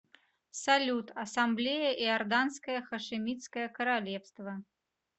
салют ассамблея иорданское хашимитское королевство